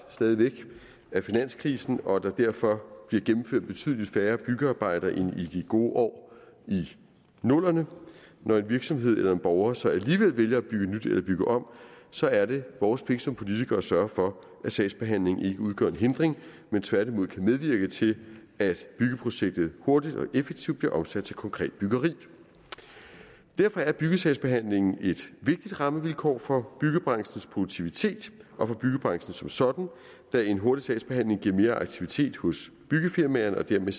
af finanskrisen og at der derfor bliver gennemført betydelig færre byggearbejder end i de gode år i nullerne når en virksomhed eller en borger så alligevel vælger at bygge nyt eller bygge om så er det vores pligt som politikere at sørge for at sagsbehandlingen ikke udgør en hindring men tværtimod kan medvirke til at byggeprojektet hurtigt og effektivt bliver omsat til konkret byggeri derfor er byggesagsbehandlingen et vigtigt rammevilkår for byggebranchens produktivitet og for byggebranchen som sådan da en hurtig sagsbehandling giver mere aktivitet hos byggefirmaerne og dermed